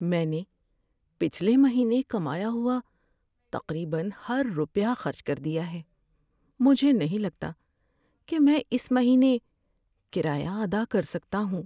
میں نے پچھلے مہینے کمایا ہوا تقریبا ہر روپیہ خرچ کر دیا ہے۔ مجھے نہیں لگتا کہ میں اس مہینے کرایہ ادا کر سکتا ہوں۔